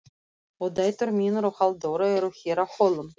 Og dætur mínar og Halldóra eru hér á Hólum.